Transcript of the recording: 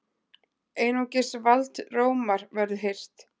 Einungis vald Rómar verður hirt!